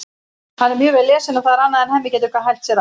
Hann er mjög vel lesinn og það er annað en Hemmi getur hælt sér af.